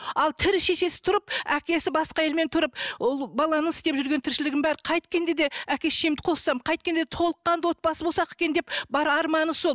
ал тірі шешесі тұрып әкесі басқа әйелмен тұрып ол баланың істеп жүрген тіршілігінің бәрі қайткенде де әке шешемді қоссам қайткенде де толыққанды отбасы болсақ екен деп бар арманы сол